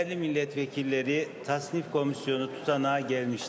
Dəyərli millət vəkilləri, təsnifat komissiyasının protokolu gəlmişdir.